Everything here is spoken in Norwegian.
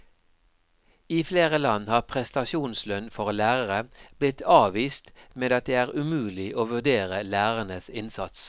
I flere land har prestasjonslønn for lærere blitt avvist med at det er umulig å vurdere lærernes innsats.